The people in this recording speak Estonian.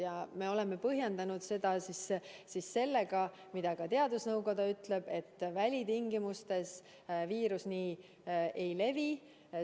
Ja me oleme põhjendanud seda sellega, mida ka teadusnõukoda ütleb, et välitingimustes viirus nii ei levi.